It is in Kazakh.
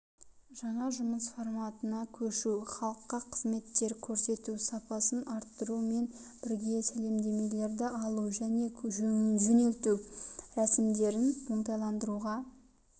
жаңа жұмыс форматына көшу халыққа қызметтер көрсету сапасын арттырумен бірге сәлемдемелерді алу және жөнелту рәсімдерін оңтайландыруға